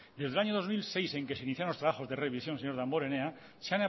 desde el año dos mil seis en que se iniciaron los trabajos de revisión señor damborenea se